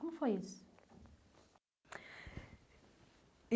Como foi isso?